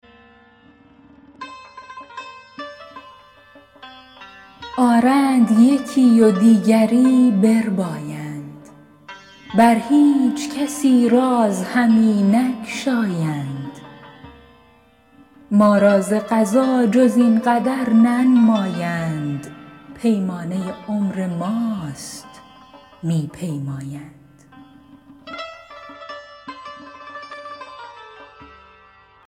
آرند یکی و دیگری بربایند بر هیچ کسی راز همی نگشایند ما را ز قضا جز این قدر ننمایند پیمانه عمر ماست می پیمایند